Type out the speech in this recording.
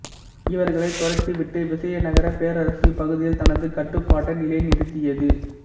இவர்களைத் துரத்திவிட்டு விசயநகரப் பேரரசு இப்பகுதியில் தனது கட்டுப்பாட்டை நிலை நிறுத்தியது